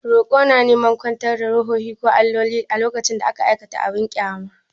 Roƙo na neman kwantar da ruhohi ko alloli lokacin da aka aikata abin ƙyama.